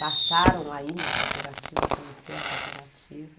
Passaram a ir na cooperativa, conhecer a cooperativa.